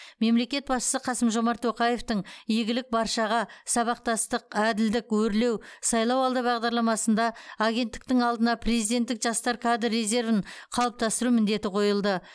мемлекет басшысы қасым жомарт тоқаевтың игілік баршаға сабақтастық әділдік өрлеу сайлауалды бағдарламасында агенттіктің алдына президенттік жастар кадр резервін қалыптастыру міндеті қойылды